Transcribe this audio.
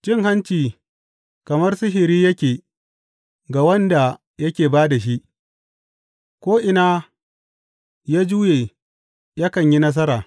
Cin hanci kamar sihiri yake ga wanda yake ba da shi; ko’ina ya juye, yakan yi nasara.